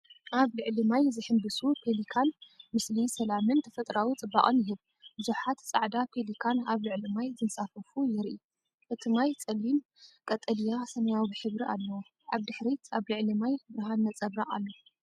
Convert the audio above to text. ኣብ ልዕሊ ማይ ዝሕንብሱ ፔሊካን ምስሊ ሰላምን ተፈጥሮኣዊ ጽባቐን ይህብ! ብዙሓት ጻዕዳ ፔሊካን ኣብ ልዕሊ ማይ ዝንሳፈፉ የርኢ። እቲ ማይ ጸሊም ቀጠልያ/ሰማያዊ ሕብሪ ኣለዎ። ኣብ ድሕሪት ኣብ ልዕሊ ማይ ብርሃን ነጸብራቕ ኣሎ።